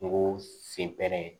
Kungo sen bɛ yen